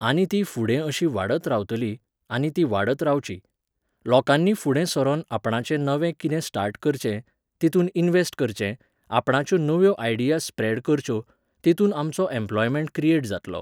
आनी ती फुडें अशी वाडत रावतली, आनी ती वाडत रावची. लोकांनी फुडें सरोन आपणाचें नवें किदें स्टार्ट करचें, तितून इनव्हॅस्ट करचें, आपणाच्यो नव्यो आयडियास स्प्रॅड करच्यो, तितून आमचो एम्प्लॉयमेंट क्रिएट जातलो